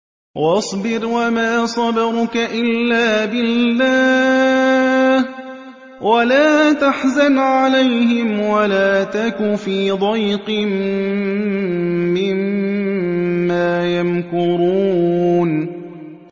وَاصْبِرْ وَمَا صَبْرُكَ إِلَّا بِاللَّهِ ۚ وَلَا تَحْزَنْ عَلَيْهِمْ وَلَا تَكُ فِي ضَيْقٍ مِّمَّا يَمْكُرُونَ